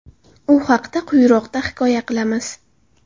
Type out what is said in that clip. U haqda quyiroqda hikoya qilamiz.